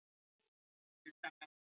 Sá litli, hann Diddi, alveg hágrenjandi.